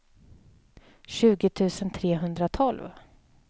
tjugo tusen trehundratolv